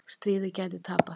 Stríðið gæti tapast